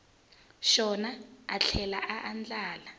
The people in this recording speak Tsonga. xona a tlhela a andlala